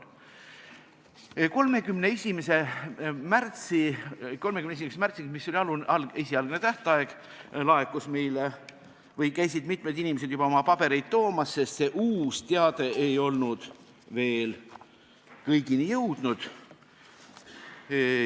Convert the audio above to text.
31. märtsiks, mis oli esialgne tähtaeg, käisid mitmed inimesed meile juba oma pabereid toomas, sest uus teade ei olnud veel kõigini jõudnud.